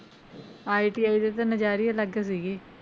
ITI ਦੇ ਤਾਂ ਨਜ਼ਾਰੇ ਹੀ ਅਲੱਗ ਸੀਗੇ।